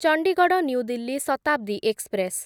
Chandigarh new Delhi Shatabdi express